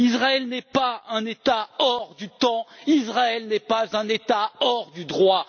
Israël n'est pas un État hors du temps, Israël n'est pas un État hors du droit.